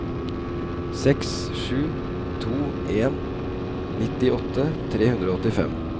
seks sju to en nittiåtte tre hundre og åttifem